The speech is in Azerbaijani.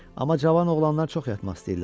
Amma cavan oğlanlar çox yatmaq istəyirlər.